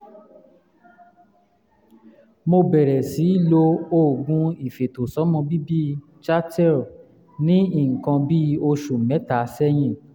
mo bẹ̀rẹ̀ sí lo oògùn ìfètòsọ́mọbíbí chateal ní nǹkan bí oṣù mẹ́ta sẹ́yìn